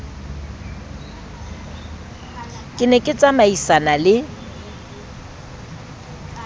ke ne ke tsamaisana le